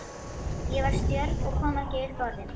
Ég var stjörf og kom ekki upp orði.